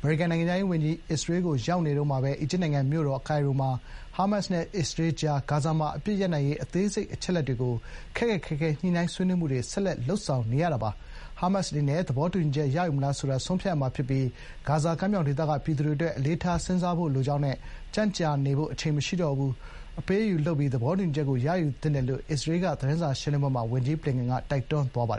အမေရိကန်နိုင်ငံခြားရေးဝန်ကြီး အစ္စရေးကိုရောက်နေတုန်းမှာပဲ အီဂျစ်နိုင်ငံမြို့တော်ကိုင်ရိုဟာ ဟာမတ်စ်နဲ့အစ္စရေးကြားက ဂါဇာမှာ အပစ်ရပ်နိုင်ရေး အသေးစိတ် အချက်အလက်တွေကို ခက်ခက်ခဲခဲညှိနှိုင်း ဆွေးနွေးမှုတွေ ဆက်လက် လုပ်နေချိန် ဖြစ်ပါတယ်။ “ဟာမတ်စ်အနေနဲ့ သဘောတူညီချက်ရယူမလားဆိုတာ ဆုံးဖြတ်ရမှာဖြစ်ပြီး ဂါဇာကမ်းမြောင်ဒေသက ပြည်သူတွေအတွက် အလေးထားစဥ်းစားဖို့ လိုပါတယ်။ ကြန့်ကြာနေဖို့အချိန်မရှိတော့ပါဘူး။ အပေးအယူလုပ်ပြီး သဘောတူညီချက်ကို ရယူသင့်ပါတယ်” လို့လည်း အစ္စရေးက သတင်းစာရှင်းလင်းပွဲမှာ ဝန်ကြီးဘလင်ကန်က တိုက်တွန်းသွားပါတယ်